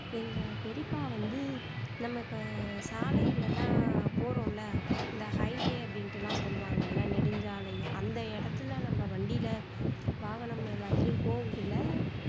எங்க பெரியப்பா வந்து நம்ம இப்போ சாலையில எல்லாம் போறோம்ல இந்த highway அப்படின்னுட்டு எல்லாம் சொல்லுவாங்கல்ல நெடுஞ்சாலை அந்த இடத்துல நம்ம வண்டில வாகனம் எல்லாத்துலையும் போகக்குள்ள